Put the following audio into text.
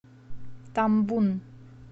тамбун